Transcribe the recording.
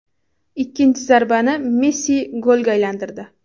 Ikkinchi zarbani Messi golga aylantirdi.